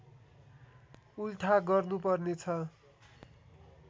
उल्था गर्नुपर्ने छ